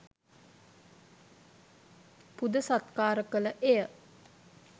පුද සත්කාර කළ එය